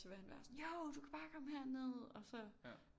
Så vil han være sådan jo du kan bare komme herned og så